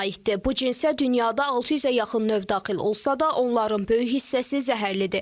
Bu cinsə dünyada 600-ə yaxın növ daxil olsa da, onların böyük hissəsi zəhərlidir.